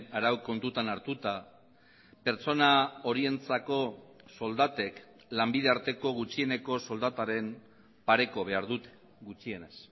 arau kontutan hartuta pertsona horientzako soldatek lanbide arteko gutxieneko soldataren pareko behar dute gutxienez